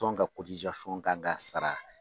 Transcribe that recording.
Tɔn ka kan ka sara.